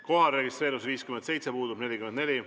Kohalolijaks registreerus 57 Riigikogu liiget, puudub 44.